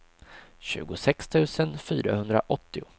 tjugosex tusen fyrahundraåttio